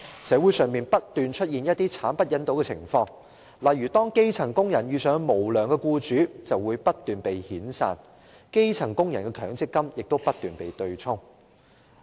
社會上不斷出現一些慘不忍睹的情況：當基層工人遇上無良僱主，便會不斷被遣散，而基層工人的強積金亦不斷被對沖。